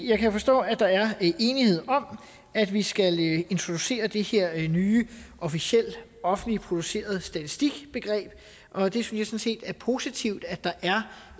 jeg kan forstå at der er enighed om at vi skal introducere det her nye officiel offentligt produceret statistik begreb og det synes jeg sådan set er positivt at der er